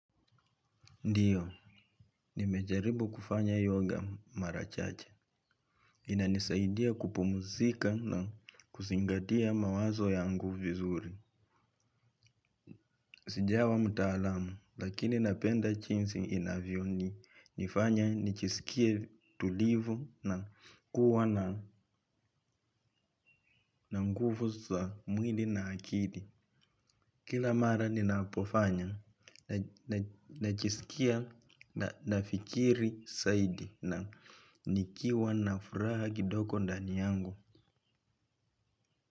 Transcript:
Ndiyo, nimejaribu kufanya yoga marachache. Inanisaidia kupumuzika na kuzingatia mawazo yangu vizuri. Sijawa mtaalamu, lakini napenda chinsi inavyo ni nifanya nichisikie tulivu na kuwa na nguvu za mwili na akili. Kila mara ninapofanya, najisikia nafikiri saidi na nikiwa na furaha kidogo ndani yangu.